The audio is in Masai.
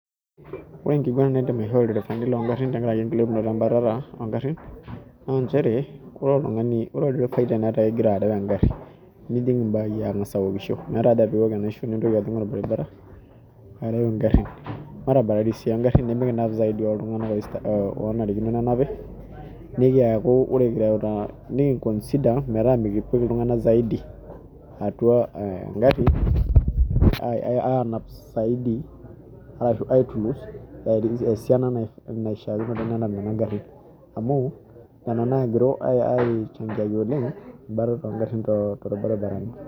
Ore enkiguana naidim aihoo ilderefani longarrin tenkarake enkilepunoto embatata ongarrin naa nchere ore oltung'ani ore olderefai tenetaa igira arew engarri nijing imbai ang'as awokisho meeta haja piiwok enaisho nintokiajing orbaribara arew ingarrin matabararai sii ongarrin nemikinap zaidi iltung'anak oista onarikinoo nenapi nikiyaku ore kireuta nikinkonsida metaa mikipik iltung'ana zaidi atua eh engarri ae anap saidi arashu aitulus esiana nae naishiakinore nenap nenap garrin amu nena nagiru aechangaki oleng embatata ongarrin torbaribarani.